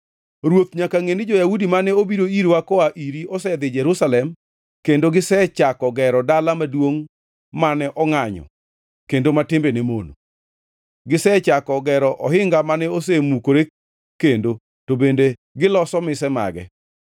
Ruoth nyaka ngʼeni, jo-Yahudi mane obiro irwa koa iri osedhi Jerusalem kendo gisechako gero dala maduongʼ mane ongʼanyo kendo ma timbene mono. Gisechako gero ohinga mane osemukore kendo to bende giloso mise mage.